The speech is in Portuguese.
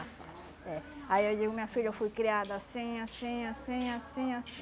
Aí eu digo, minha filha, eu fui criada assim, assim, assim, assim, assim.